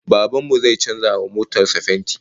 Baban mu zai canza wa motar sa fenti